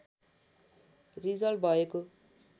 result भएको